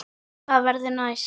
Hvað verður næst?